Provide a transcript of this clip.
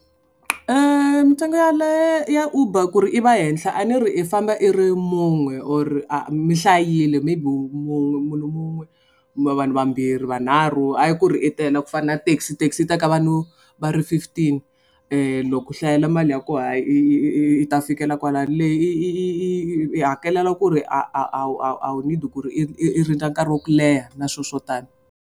Mitsengo ya le ya uber ku ri i va henhla a ni ri i famba i ri mun'we or a mi hlayile maybe munhu wun'we kumbe vanhu vambirhi vanharhu hayi ku ri i tele ku fana na taxi taxi teka vanhu va ri fifteen loko u hlayela mali ya kona hayi i i i ta fikela kwala leyi yi hakelela ku ri a a a wu a wu need ku ri i i rindza nkarhi wa ku leha na swilo swo tani.